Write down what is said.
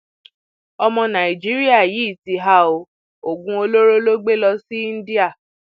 ọmọ nàìjíríà yìí ti há ọ oògùn olóró ló gbé lọ sí íńdíà